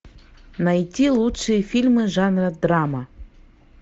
найти лучшие фильмы жанра драма